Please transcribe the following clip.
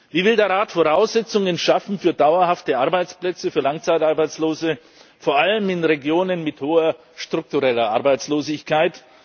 Wie will der Rat Voraussetzungen schaffen für dauerhafte Arbeitsplätze für Langzeitarbeitslose, vor allem in Regionen mit hoher struktureller Arbeitslosigkeit?